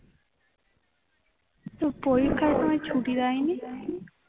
তোর পরীক্ষার সময় ছুটি দেয়নি